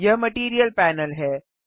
यह material panel है